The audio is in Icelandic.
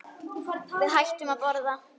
Við hættum að borða.